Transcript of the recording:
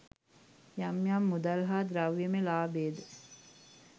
යම් යම් මුදල් හා ද්‍රව්‍යමය ලාභයද